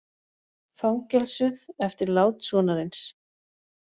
Fangelsuð eftir lát sonarins